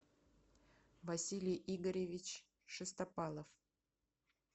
василий игоревич шестопалов